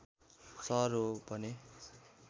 सहर हो भने